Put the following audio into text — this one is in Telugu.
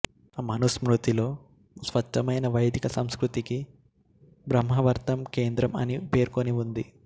మనుస్మృతిలో స్వచ్ఛమైన వైదిక సంస్కృతికి బ్రహ్మావర్తం కేంద్రం అని పేర్కొనివుంది